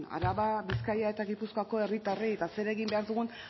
araba bizkaia eta gipuzkoako herritarrei eta zer egin behar dugu